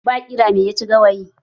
Ba ƙira mai ya ci gawayi?